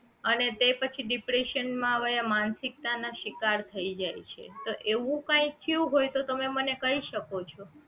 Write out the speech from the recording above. અને તે પછી depression માં વયા માનસિકતા ના શિકાર થઈ જાય છે તો એવું કઈ થયું હોય તો તમે મને કઈ શકો છો